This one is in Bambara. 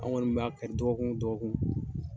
An kɔni b'a kari dɔgɔkun dɔgɔkun.